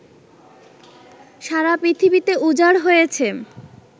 সারা পৃথিবীতে উজাড় হয়েছে